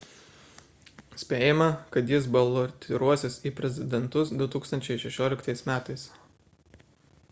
spėjama kad jis balotiruosis į prezidentus 2016 m